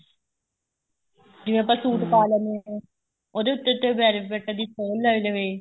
ਜਿਵੇਂ ਆਪਾਂ suite ਪਾ ਲੈਣੇ ਆ ਉਹਦੇ ਉੱਤੇ velvet ਦੀ from ਲੱਗ ਜਾਵੇ